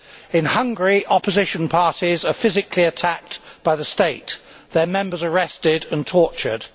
In Hungary, opposition parties are physically attacked by the state, their members arrested and tortured.